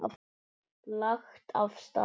Lagt af stað